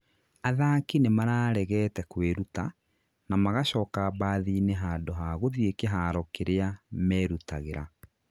athaki nĩmararegete kwĩruta, na magacoka mbathi-inĩ handũ ha gũthiĩ kĩharo kĩrĩa merutagĩra